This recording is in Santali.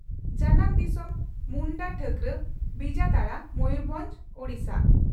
ᱡᱟᱟᱢ ᱫᱤᱥᱚᱢ ᱺ ᱢᱩᱱᱰᱟᱹᱴᱷᱟᱹᱠᱨᱟ, ᱵᱤᱡᱟᱛᱟᱲᱟ, ᱢᱚᱭᱩᱨᱵᱷᱚᱸᱡᱽ, ᱳᱰᱤᱥᱟ ᱾